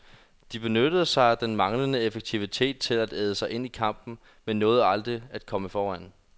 De benyttede sig af den manglende effektivitet til at æde sig ind i kampen, men nåede aldrig at komme foran.